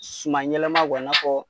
Suman yɛlɛma i n'a fɔ